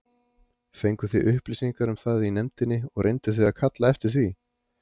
Fenguð þið upplýsingar um það í nefndinni og reynduð þið að kalla eftir því?